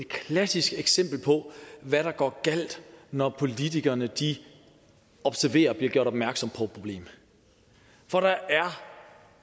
klassisk eksempel på hvad der går galt når politikerne observerer og bliver gjort opmærksomme problem for der er